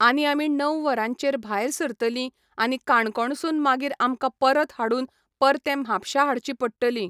आनी आमी णव वरांचेर भायर सरतलीं आनी काणकोण सून मागीर आमकां परत हाडून, परतें म्हापश्यां हाडचीं पडटलीं.